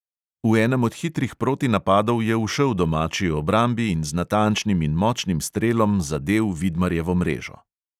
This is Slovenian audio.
V enem od hitrih protinapadov je ušel domači obrambi in z natančnim in močnim strelom zadel vidmarjevo mrežo.